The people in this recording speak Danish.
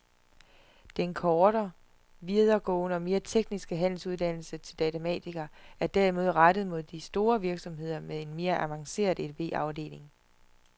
Den korte, videregående og mere tekniske handelsuddannelse til datamatiker er derimod rettet mod de store virksomheder med en mere avanceret edb-afdeling.